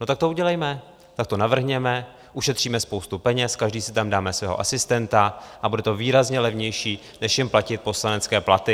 No, tak to udělejme, tak to navrhněme, ušetříme spoustu peněz, každý si tam dáme svého asistenta a bude to výrazně levnější než jim platit poslanecké platy.